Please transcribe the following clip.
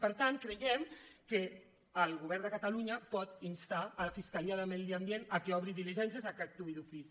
per tant creiem que el govern de catalunya pot instar la fiscalia de medi ambient perquè obri diligències perquè actuï d’ofici